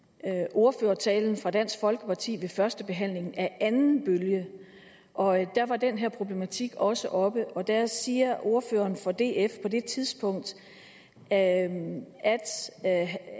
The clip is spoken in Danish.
ordførertalen fra dansk folkeparti ved første behandling af anden bølge og der var den her problematik også oppe og der siger ordføreren for df på det tidspunkt at